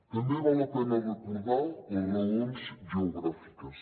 també val la pena recordar les raons geogràfiques